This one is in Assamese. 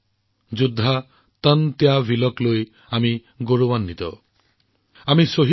আমি গৌৰৱান্বিত যে যোদ্ধা তন্ত্য ভীলৰ জন্ম আমাৰ এই ভূমিতে হৈছিল